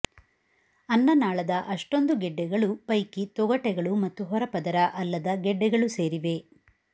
ಅನ್ನನಾಳದ ಅಷ್ಟೊಂದು ಗೆಡ್ಡೆಗಳು ಪೈಕಿ ತೊಗಟೆಗಳು ಮತ್ತು ಹೊರಪದರ ಅಲ್ಲದ ಗೆಡ್ಡೆಗಳು ಸೇರಿವೆ